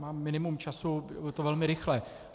Mám minimum času, je to velmi rychlé.